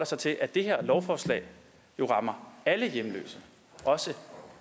sig til at det her lovforslag jo rammer alle hjemløse også